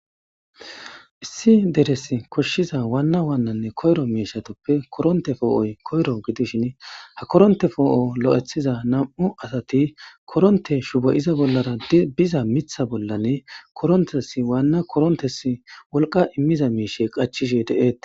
issi deres koshshiza waanna waannanne koyro miishatoppe koronte foo7oy koyro gidishin ha koronte foo7o lo7ethiza nam7u asati koronte shuboyiza bollara biza mitha bollane korontesi waanna korontesi wolqa immiza miishe qachishe deeete